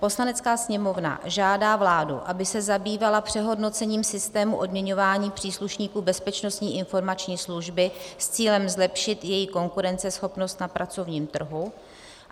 "Poslanecká sněmovna žádá vládu, aby se zabývala přehodnocením systému odměňování příslušníků Bezpečnostní informační služby s cílem zlepšit její konkurenceschopnost na pracovním trhu."